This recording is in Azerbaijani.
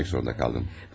Amma gəlmək zorunda qaldım.